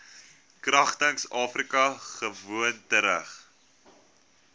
kragtens afrika gewoontereg